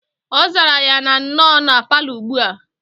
Ozara ya na noo na parlour ugbua.